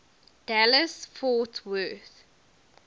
dallas fort worth